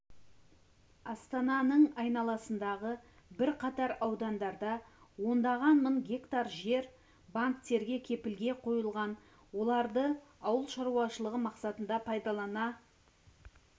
астананың айналасындағы бірқатар аудандарда ондаған мың гектар жер банктерге кепілге қойылған оларды ауыл шаруашылығы мақсатында пайдалана